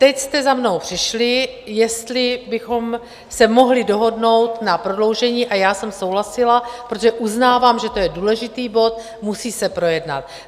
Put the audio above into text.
Teď jste za mnou přišli, jestli bychom se mohli dohodnout na prodloužení - a já jsem souhlasila, protože uznávám, že to je důležitý bod, musí se projednat.